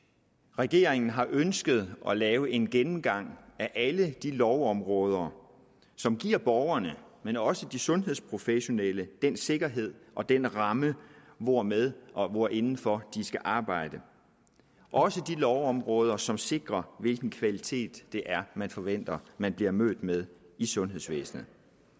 regeringen har ønsket at lave en gennemgang af alle de lovområder som giver borgerne men også de sundhedsprofessionelle den sikkerhed og den ramme hvormed og hvorindenfor de skal arbejde også de lovområder som sikrer hvilken kvalitet det er man forventer man bliver mødt med i sundhedsvæsenet